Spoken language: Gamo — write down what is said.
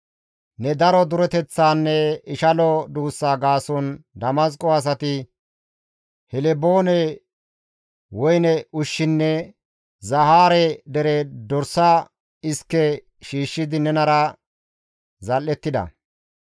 «Ne daro dureteththanne ishalo duussa gaason Damasqo asati Helboone woyne ushshinne Zahaare dere dorsa iske shiishshidi nenara zal7ettida.